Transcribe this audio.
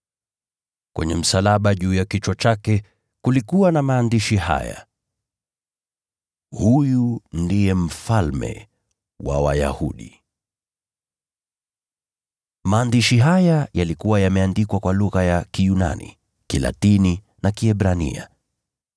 Kwenye msalaba juu ya kichwa chake, kulikuwa na maandishi haya: Huyu ndiye Mfalme wa Wayahudi . Maandishi haya yalikuwa yameandikwa kwa lugha za Kiyunani, Kilatini na Kiebrania.